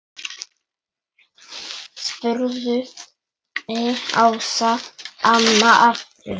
spurði Ása amma aftur.